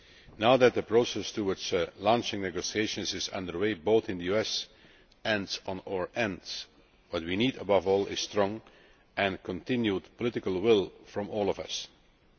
Now that the process towards launching negotiations is under way both in the US and on our side, what we need above all is strong and continued political will from us all.